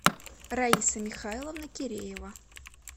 раиса михайловна киреева